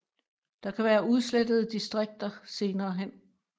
Der kan være udslettede distrikter senere hen